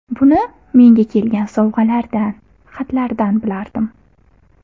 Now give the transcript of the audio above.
Buni menga kelgan sovg‘alardan, xatlardan bilardim.